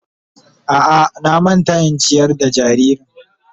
A'a na manta in ciyar da jaririn.